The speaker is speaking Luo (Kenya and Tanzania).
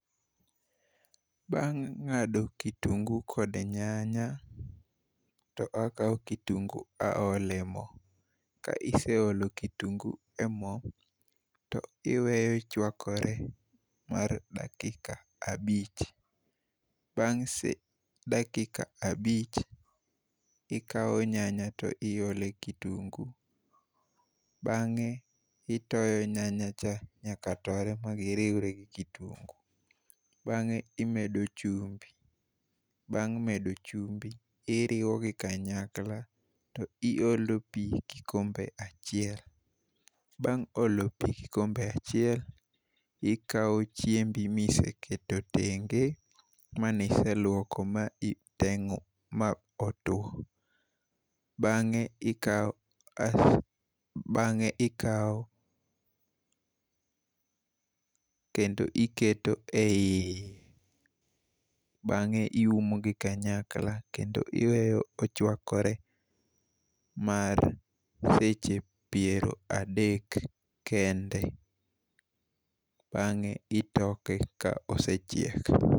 Bang' ngado kitungu kod nyanya, to akawo kitungu aole mo, kaiseolo kitungu e mo, to iweyo chwakore mar dakika abich, bange' dakika abich, ikawo nyanya to iole kitungu bange' itoyo nyanyacha nyaka tore magiriwre gi kitungu bange imedo chumbi bang' medo chumbi iriwogi kanyakla, to iolo pi kikombe achiel, bang' olo pi kikombe achiel, ikawo chiembi miseketo tenge', mani iselwoko mani itengo' ma otwo, bange' ikawo bange' ikawo kendo iketo e iye, bange iumogi kanyakla kendo iweyo ochwakore mar seche piero adek kende, bange' itoke ka osechiek.